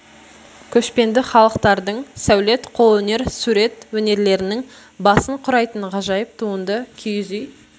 көшпенді халықтардың сәулет қолөнер сурет өнерлерінің басын құрайтын ғажайып туынды киіз үй